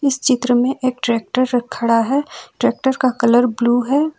इस चित्र में एक ट्रैक्टर र खड़ा है ट्रैक्टर का कलर ब्लू है।